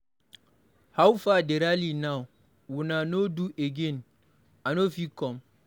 How far the rally now, una no do again? I no fit come.